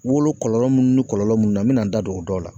Wolo kɔlɔlɔ mun ni kɔlɔlɔ mun na, n mi na n da don o dɔw la.